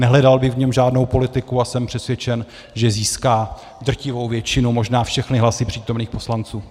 Nehledal bych v něm žádnou politiku a jsem přesvědčen, že získá drtivou většinu, možná všechny hlasy přítomných poslanců.